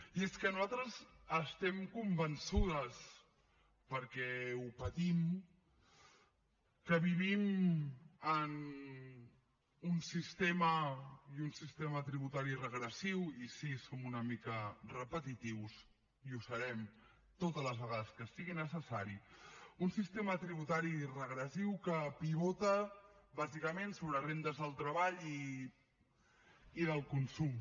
i és que nosaltres estem convençudes perquè ho patim que vivim en un sistema i un sistema tributari regressiu i sí som una mica repetitius i ho serem totes les vegades que sigui necessari un sistema tributari regressiu que pivota bàsicament sobre rendes del treball i del consum